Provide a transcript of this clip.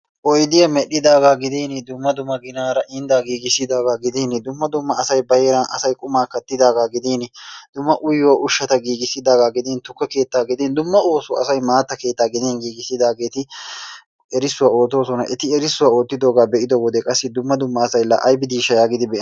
Oydiya medhdhidaaga gidin dummma dumma ginaara inddaa giggissidaaga gidin dumma dumma asay ba heeran asay qummaa kattidaaga gidin dumma uyiyo ushshata giggissidaaga gidin tukke keettaa gudin dumma oosuwa asay maatta keettaa gidin giggissidaageti erissuwaa oottoosona, eti erissuwaa oottiddogaa be'iddo wode qassi dumma dumma asay la aybidisha yagidi bean...